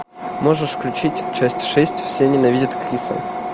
можешь включить часть шесть все ненавидят криса